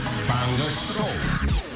таңғы шоу